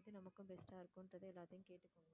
எது நமக்கும் best ஆ இருக்கும்ன்றத எல்லாத்தையும் கேட்டுக்கோங்க.